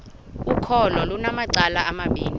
ukholo lunamacala amabini